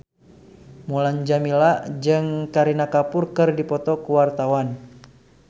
Mulan Jameela jeung Kareena Kapoor keur dipoto ku wartawan